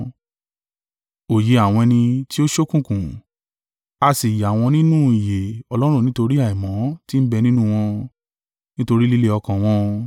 Òye àwọn ẹni tí ó ṣókùnkùn, a sì yà wọ́n nínú ìyè Ọlọ́run nítorí àìmọ̀ tí ń bẹ nínú wọn, nítorí líle ọkàn wọn.